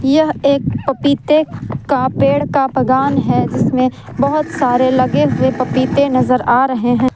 यह एक पपीते का पेड़ का बगान है जिसमें बहोत सारे लगे हुए पपीते नजर आ रहे हैं।